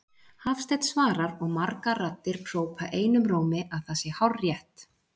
Hafsteinn svarar og margar raddir hrópa einum rómi, að það sé hárrétt.